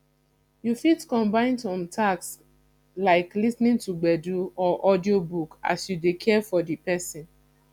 you fit combine some tasks like lis ten ing to gbedu or audio book as you dey care for di person